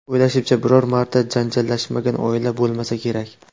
O‘ylashimcha, biror marta janjallashmagan oila bo‘lmasa kerak.